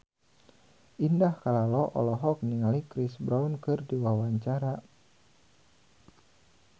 Indah Kalalo olohok ningali Chris Brown keur diwawancara